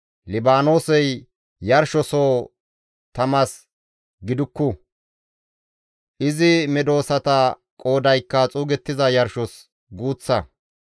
Libaanoosey yarshosoho tamas gidukku; izi medosata qoodaykka xuugettiza yarshos guuththa.